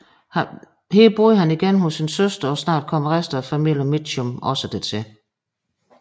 Her boede han igen hos sin søster og snart kom resten af familien Mitchum også dertil